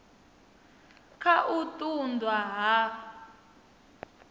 kha u ṱun ḓwa ha